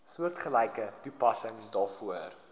soortgelyke toepassing daarvoor